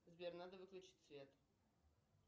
сбер надо выключить свет